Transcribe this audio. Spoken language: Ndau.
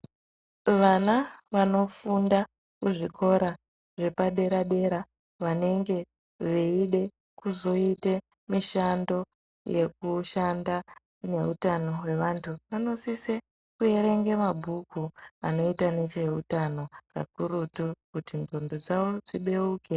Vana vanofunda muzvikora zvepadera-dera, vanenge veide kuzoite mishando yekushanda neutano hwevantu, vanosise kuerenge mabhuku anoita necheutano, kakurutu kuti qondo dzavo dzibeuke.